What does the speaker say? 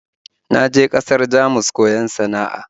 Na je ƙasar Jamus koyon sana'a